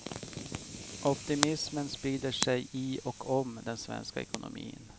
Optimismen sprider sig i och om den svenska ekonomin.